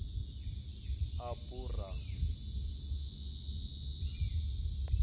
aburam